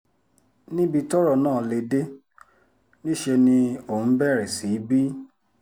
níbi tọ́rọ̀ náà lè dé níṣẹ́ ni òun bẹ̀rẹ̀ sí í bí